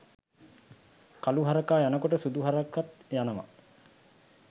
කලු හරකා යනකොට සුදු හරකත් යනවා